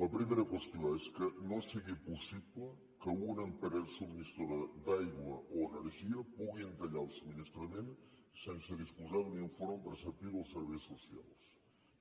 la primera qüestió és que no sigui possible que una empresa subministradora d’aigua o energia pugui tallar el subministrament sense disposar d’un informe preceptiu dels serveis socials